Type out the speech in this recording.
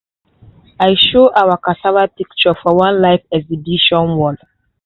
i show our cassava picture for one live exhibition wall.